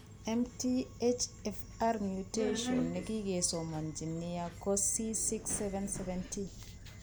MTHFR mutation ne kikesomanji nia ko C677T.